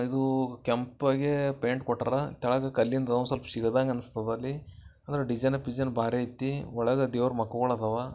ಇದು ಕೆಂಪಗೆ ಬೆಂಡ್ ಕೊಟ್ಟರ ತಳಗೆ ಕಲ್ಲಿಂದು ಸ್ವಲ್ಪ ಶಿಲದಂಗ ಕಾಣಿಸ್ತದೆ ಡಿಸೈನ್ ಪಿಜನ್ ಬಾರಿ ಐತಿ ಒಳಗ ದೇವರುಗಳ್ ಮಖಗಳದವ.